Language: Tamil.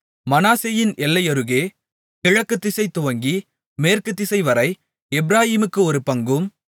மனாசேயின் எல்லையருகே கிழக்குதிசை துவங்கி மேற்கு திசைவரை எப்பிராயீமுக்கு ஒரு பங்கும்